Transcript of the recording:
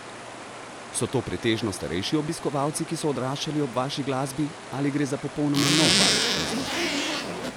So to pretežno starejši obiskovalci, ki so odraščali ob vaši glasbi, ali gre za popolnoma nov val občinstva?